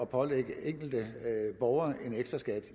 pålægge enkelte borgere en ekstraskat